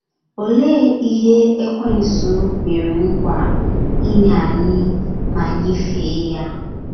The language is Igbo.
Olee ihe Ekwensu kwere nkwa inye anyị ma anyị fee ya?